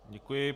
Děkuji.